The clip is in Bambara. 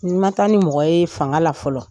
N ma taa ni mɔgɔ ye fanga la fɔlɔ.